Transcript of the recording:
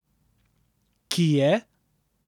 Ki je?